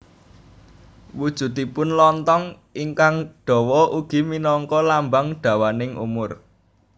Wujudipun lonthong ingkang dawa ugi minangka lambang dawaning umur